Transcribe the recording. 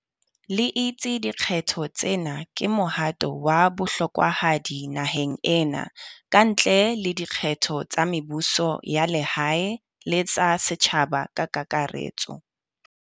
le itse dikgetho tsena ke mohato wa bohlokwahadi naheng ena, kantle le dikgetho tsa mebuso ya lehae le tsa setjhaba ka kakaretso.